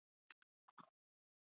Ég datt.